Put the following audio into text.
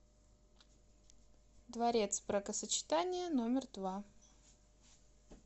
дворец бракосочетания номер два